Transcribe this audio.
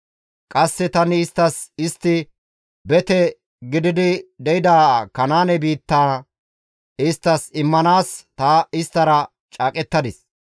Qasse tani isttas istti bete gididi de7ida Kanaane biittaa isttas immanaas ta isttara caaqettadis.